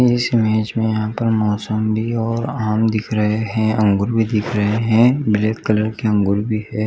इस इमेज में यहाँ पर मॉसम्बी और आम दिख रहै है अँगूर भी दख रहै है ग्रे कलर के अंगूर भी है।